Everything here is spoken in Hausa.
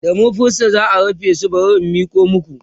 da marfinsa za'a rufe shi bari in Miko maku